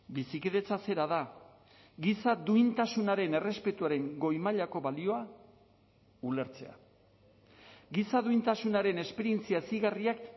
bizikidetza zera da giza duintasunaren errespetuaren goi mailako balioa ulertzea giza duintasunaren esperientzia hezigarriak